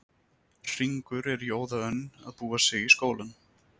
Hringur er í óða önn að búa sig í skólann.